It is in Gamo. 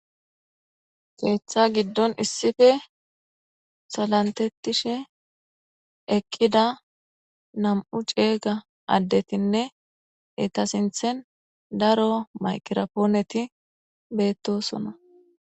keeththa giddon issife salantettishe eqqida nam7u ceega addetinne ita sinthen daro mayqira pooneti beettosona